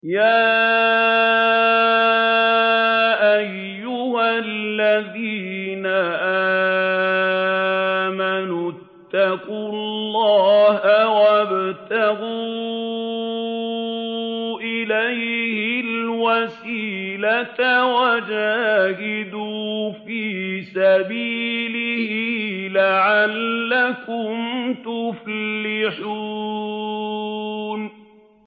يَا أَيُّهَا الَّذِينَ آمَنُوا اتَّقُوا اللَّهَ وَابْتَغُوا إِلَيْهِ الْوَسِيلَةَ وَجَاهِدُوا فِي سَبِيلِهِ لَعَلَّكُمْ تُفْلِحُونَ